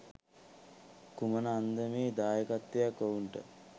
කුමන අන්දමේ දායකත්වයක් ඔවුන්ට